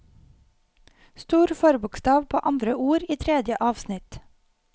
Stor forbokstav på andre ord i tredje avsnitt